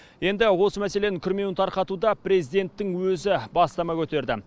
енді осы мәселенің күрмеуін тарқатуда президенттің өзі бастама көтерді